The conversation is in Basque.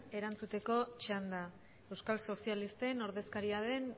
erantzuteko txanda euskal sozialisten ordezkaria den